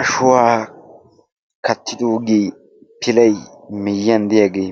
Ashuwaa kattiddoogee pilay miyyiyan diyaagee